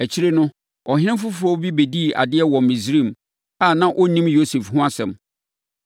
Akyire no, ɔhene foforɔ bi bɛdii adeɛ wɔ Misraim a na ɔnnim Yosef ho asɛm.